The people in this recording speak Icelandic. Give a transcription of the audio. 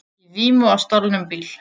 Í vímu á stolnum bíl